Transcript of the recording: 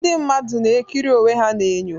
Ndị mmadụ na-ekiri onwe ha n'enyo.